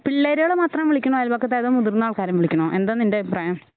പിള്ളേരുകളെ മാത്രം വിളിക്കണോ അയൽപക്കത്തെ അതോ മുതിർന്ന ആൾക്കാരെയും വിളിക്കണോ എന്താ നിൻ്റെ അഭിപ്രായം?